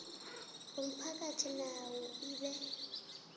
womphakathi nayo ibe